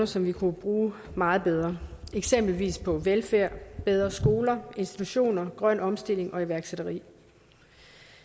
som vi kunne bruge meget bedre eksempelvis på velfærd bedre skoler institutioner grøn omstilling og iværksætteri